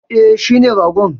E, shine ragon.